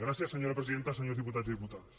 gràcies senyora presidenta senyors diputats i diputades